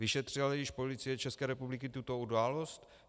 Vyšetřila již Policie České republiky tuto událost?